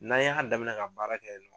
N'an y'a damina ka baara kɛ yen